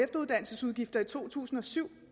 der i to tusind og syv